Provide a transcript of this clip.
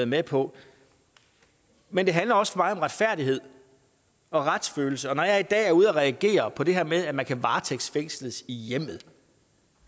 med på men det handler også om retfærdighed og retsfølelse og når jeg i dag er ude at reagere på det her med at man kan varetægtsfængsles i hjemmet